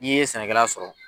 Ni ye sɛnɛkɛla sɔrɔ.